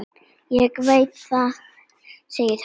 Ég veit það, sagði hún.